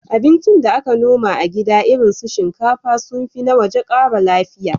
Abincin da aka noma a gida irin su shinkafa sun fi na waje ƙara lafiya.